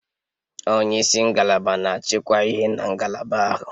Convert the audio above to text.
Onye isi ngalaba na-achịkwa ihe na ngalaba ahụ